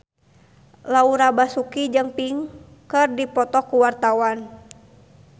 Laura Basuki jeung Pink keur dipoto ku wartawan